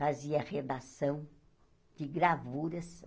fazia redação de gravuras.